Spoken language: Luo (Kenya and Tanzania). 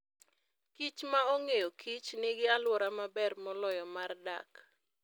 kichma ong'eyokich nigi alwora maber moloyo mar dak.